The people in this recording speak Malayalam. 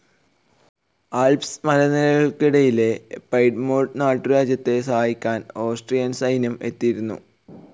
ആൽപ്സ് മലനിരകള്ക്കിടയിലെ പൈഡ്മോണ്ട് നാട്ടുരാജ്യത്തെ സഹായിക്കാൻ ഓസ്ട്രിയൻ സൈന്യം എത്തിയിരുന്നു.